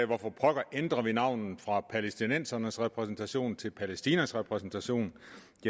hvorfor pokker ændre navnet fra palæstinensernes repræsentation til palæstinas repræsentation